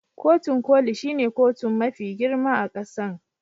Kotun Koli shine kotun mafi girma a kasan.